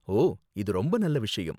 ஓ, இது ரொம்ப நல்ல விஷயம்.